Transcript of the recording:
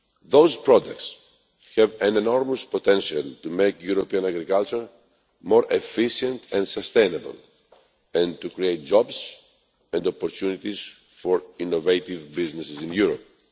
Those products have enormous potential to make European agriculture more efficient and sustainable and to create jobs and opportunities for innovative businesses in Europe.